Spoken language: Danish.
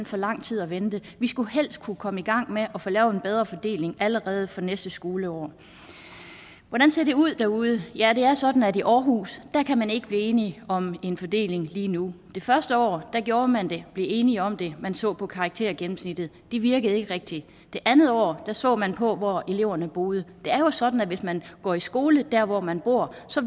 for lang tid at vente vi skulle helst kunne komme i gang med at få lavet en bedre fordeling allerede fra næste skoleår hvordan ser det ud derude ja det er sådan at i aarhus kan man ikke blive enige om en fordeling lige nu det første år gjorde man det blev enige om det man så på karaktergennemsnittet det virkede ikke rigtigt det andet år så man på hvor eleverne boede det er jo sådan at hvis man går i skole der hvor man bor